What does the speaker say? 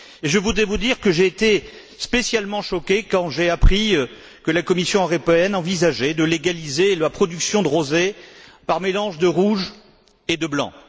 Je voulais vous dire que j'ai été particulièrement choqué quand j'ai appris que la Commission européenne envisageait de légaliser la production de rosé par mélange de rouge et de blanc.